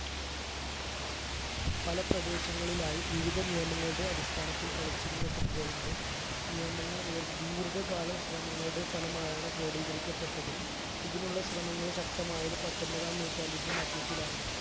പല പ്രദേശങ്ങളിലായി വിവിദ നിയമങ്ങളുടെ അടിസ്ഥാനത്തിൽ കളിച്ചിരുന്ന football ന്റെ നിയമങ്ങൾ നിർ ദീർഖ കാലം ശ്രമങ്ങളുടെ ഫലമായാണ് ക്രോഡീകരിക്കപ്പെട്ടത് ഇതിനുള്ള ശ്രമങ്ങൾ ശക്തമായത് പത്തൊമ്പതാം നൂറ്റാണ്ടിന്റെ മധ്യത്തിലാണ്